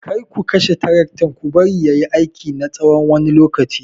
Kar ku kashe taraktan ku bari ya yi aiki na tsawon wani lokaci!